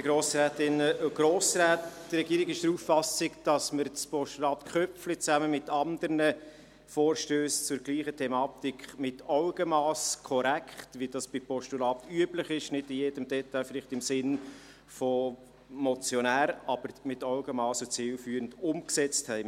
Die Regierung ist der Auffassung, dass wir das Postulat Köpfli zusammen mit anderen Vorstössen zur gleichen Thematik mit Augenmass, korrekt, wie das bei Postulaten üblich ist, vielleicht nicht in jedem Detail im Sinne des Motionärs, aber mit Augenmass und zielführend umgesetzt haben.